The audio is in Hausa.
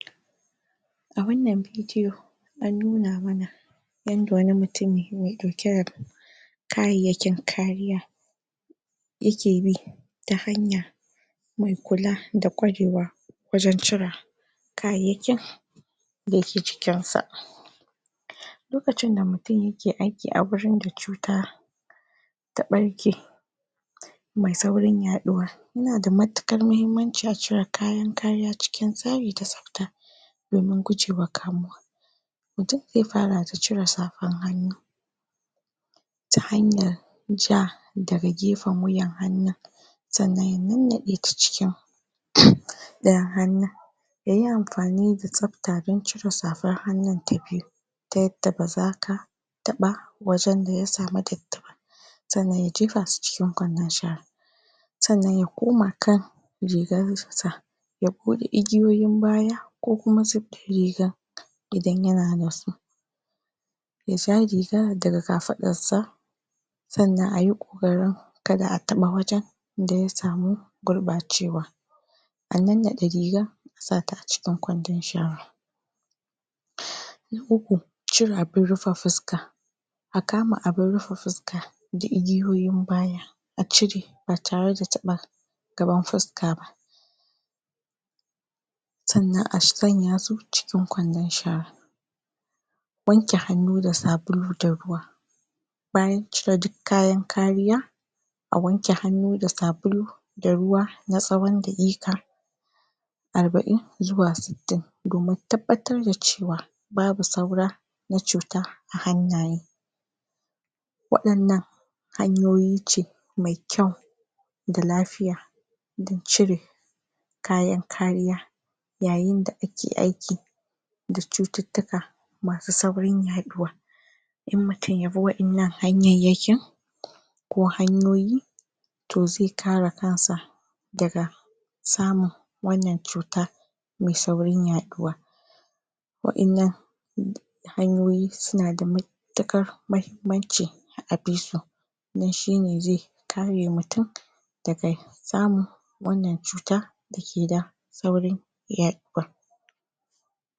A wannan bidiyo an nuna mana yadda wani mutum mai ɗauke da kayayyakin kariya yake bi ta hanya mai kula da kwarewa wajen cira kayayyakin da ke jikinsa lokacin da mutum yake aiki a wajen da cuta ta ɓarke mai saurin yaɗuwa yana da matukar mahimmanci a cire kayan kariya cikin tsari da tsafta domin gujewa kamowa mutum zai fara da cire safan hannu ta hanyan ja daga gefen wuyan hannun sannan ya nannaɗe ta cikin? ɗayan hannun yayi amfani da tsafta don cire safan hannun tan biyu ta yadda baza ka taɓa wajen daya sami datti ba sannan ya jefa su cikin ƙwandon shara sannan ya koma kan rigan sa ya buɗe igiyoyin baya ko kuma zif ɗin rigan idan yana da su ya ja rigan daga kafaɗan sa sannan ayi kokarin kada a taɓa wajen da ya samu gurɓacewa a nannaɗe riga a sata a cikin ƙwwandon shara na uku cire abin rufe fuska a kama abin rufe fuska igiyoyin baya a cire ba tare da taɓa gaban fuska ba sanan a sanya su cikin ƙwandon shara wanke hannu da sabulu da ruwa bayan cire duk kayan kariya a wanke hannu da sabulu da ruwa na tsawon dakika arba'in zuwa sittin domin tabbatar da cewa babu saura na cuta a hannayen waɗannan hanyoyi ce mai kyau da lafiya don cire kayan kariya yayin da ake aiki da cututtuka masu saurin yaɗuwa in mutum yabi wa innan hanyanyakin ko hanyoyi to zai kare kansa daga samun wannan cuta mai saurin yaɗuwa wa innan? hanyoyi suna da mutuƙar mahimmanci a bisu don shine zai kare mutum daga samun wannan cuta dake da saurin yaɗuwa